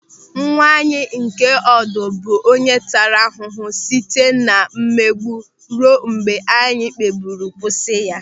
Nwa anyị nke ọdụ bụ onye taara ahụhụ site na mmegbu ruo mgbe anyị kpebiri kwụsị ya.